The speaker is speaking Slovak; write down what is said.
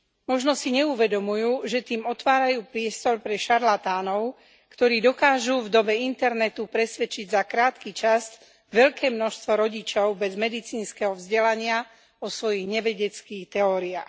Možno si neuvedomujú, že tým otvárajú priestor pre šarlatánov, ktorí dokážu v dobe internetu presvedčiť za krátky čas veľké množstvo rodičov bez medicínskeho vzdelania o svojich nevedeckých teóriách.